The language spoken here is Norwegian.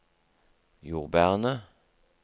jordbærene